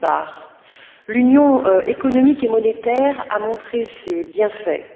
D'une part, l'Union économique et monétaire a montré ses bienfaits.